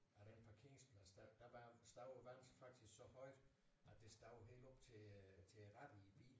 Af den parkeringsplads der der var stod vandet faktisk så højt at det stod helt op til øh til rattet i bilen